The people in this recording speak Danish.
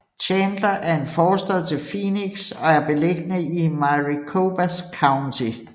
Chandler er en forstad til Phoenix og er beliggende i Maricopa County